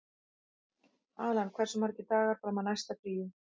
Allan, hversu margir dagar fram að næsta fríi?